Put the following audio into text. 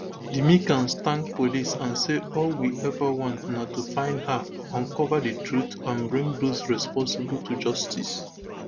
di mccanns thank police and say all we ever want na to find her uncover di truth and bring those responsible to justice